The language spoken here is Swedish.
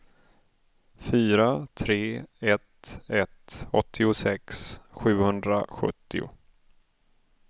fyra tre ett ett åttiosex sjuhundrasjuttio